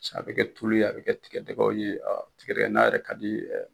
A bɛ kɛ tulu ye, a bɛ kɛ tigɛdɛgɛw ye, tigɛdɛgɛ na yɛrɛ ka di